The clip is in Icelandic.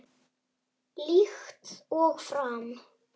Líkt og fram